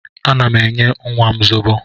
Ana m enye nnwa m zobo